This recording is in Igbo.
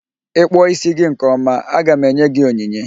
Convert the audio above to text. Ị kpụọ ísí gị nke ọma, aga m enye gị onyinye.